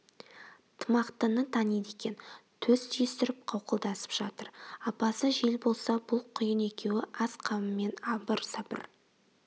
тымақтыны таниды екен төс түйістіріп қауқылдасып жатыр апасы жел болса бұл құйын екеуі ас қамымен абыр-сабыр